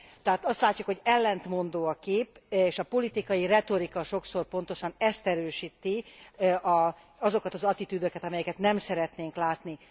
Tehát azt látjuk, hogy ellentmondó a kép, és a politikai retorika sokszor pontosan ezt erősíti, azokat az attitűdöket, amelyeket nem szeretnénk látni.